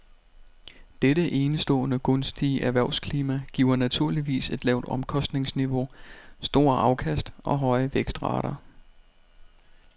Dette enestående gunstige erhvervsklima giver naturligvis et lavt omkostningsniveau, store afkast og høje vækstrater.